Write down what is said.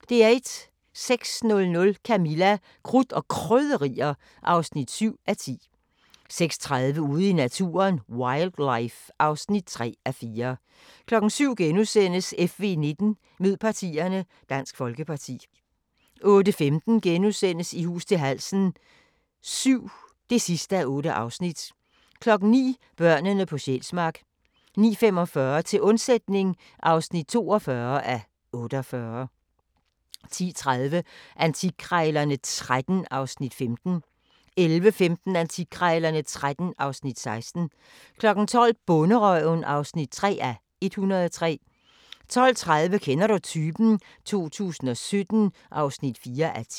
06:00: Camilla – Krudt og Krydderier (7:10) 06:30: Ude i naturen: Wildlife (3:4) 07:00: FV19: Mød partierne – Dansk Folkeparti * 08:15: I hus til halsen VII (8:8)* 09:00: Børnene på Sjælsmark * 09:45: Til undsætning (42:48) 10:30: Antikkrejlerne XIII (Afs. 15) 11:15: Antikkrejlerne XIII (Afs. 16) 12:00: Bonderøven (3:103) 12:30: Kender du typen? 2017 (4:10)